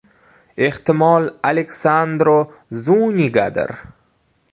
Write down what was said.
Ehtimol, Alexandro Zunigadir?